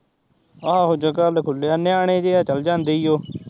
ਆਹੋ ਜਗਾ ਵੱਲ ਖੁੱਲਿਆ ਨਿਆਣੇ ਜਹੇ ਆ ਚੱਲ ਜਾਂਦੇ ਈ ਓ